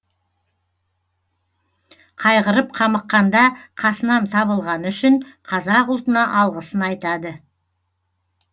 қайғырып қамыққанда қасынан табылғаны үшін қазақ ұлтына алғысын айтады